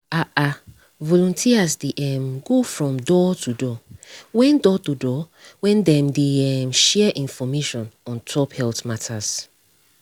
ah ah volunteers dey um go from door-to-door when door-to-door when dem dey um share information ontop health matter